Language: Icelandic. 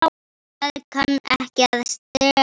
Það kann ekki að stela.